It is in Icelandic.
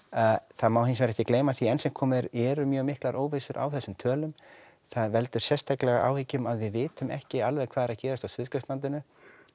það má hins vegar ekki gleyma því að enn sem komið er eru mjög miklar á þessum tölum það veldur sérstaklega áhyggjum að við vitum ekki alveg hvað er að gerast á Suðurskautslandinu